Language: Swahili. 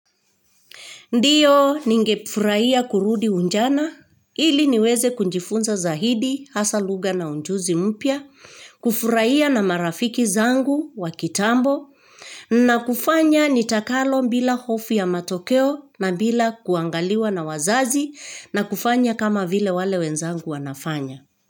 Ndio ningefurahia kurudi ujana, ili niweze kujifunza zaidi, hasa lugha na ujuzi mpya, kufurahia na marafiki zangu wa kitambo, na kufanya nitakalo bila hofu ya matokeo na bila kuangaliwa na wazazi na kufanya kama vile wenzangu wanavyo fanya.